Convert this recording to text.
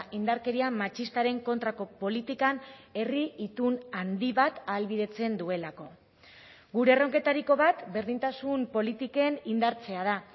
indarkeria matxistaren kontrako politikan herri itun handi bat ahalbidetzen duelako gure erronketariko bat berdintasun politiken indartzea da